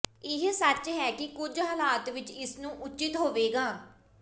ਇਹ ਸੱਚ ਹੈ ਕਿ ਕੁਝ ਹਾਲਾਤ ਵਿੱਚ ਇਸ ਨੂੰ ਉਚਿਤ ਹੋਵੇਗਾ